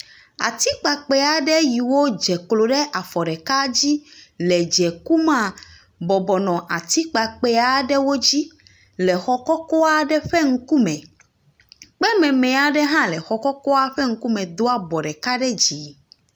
Atikpakpɛɛ aɖe yiwo dze klo ɖe afɔ ɖeka dzi le dze kumea, bɔbɔ nɔ atikpakpɛɛ aɖewo dzi le xɔ kɔkɔ aɖe ƒe ŋku me. Kpememe aɖe hã le xɔ kɔkɔa ƒe ŋkume do abɔ ɖeka dzi.